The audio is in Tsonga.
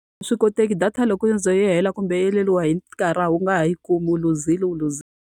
A swi koteki data loko yo ze yi hela kumbe yi heleriwa hi nkarhi a wu nga ha yi kumi, u luzile u luzile.